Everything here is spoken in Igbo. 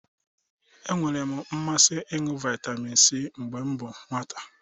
E nwere m mmasị ịṅụ vitamin C mgbe m bụ nwata